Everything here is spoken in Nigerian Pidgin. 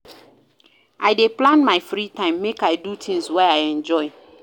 I dey plan my free time, make I do things wey I enjoy.